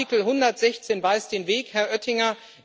Artikel 116 weist den Weg, Herr Oettinger!